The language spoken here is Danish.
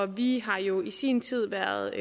vi har jo i sin tid været